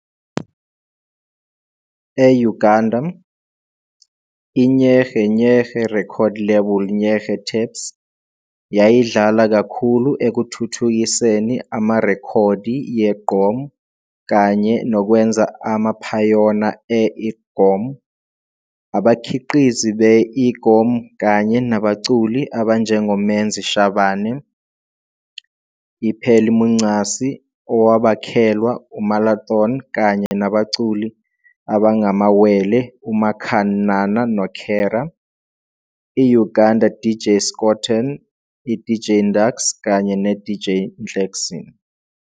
e-Uganda, i-Nyege Nyege's record label Nyege Tapes, yayidlala kakhulu ekuthuthukiseni amarekhodi ye-Iggom kanye nokwenza amaphayona e-Igom, abakhiqizi be-Iggum kanye nabaculi abanjengoMenzi Shabane, i-Phelimuncasi, owabakhelwa uMalathon kanye nabaculi abangamawele uMakan Nana noKhera, i-Uganda DJ Scoturn, i-DJ Ndakx kanye ne-DJ Nhlekzin.